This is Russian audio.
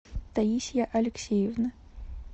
таисия алексеевна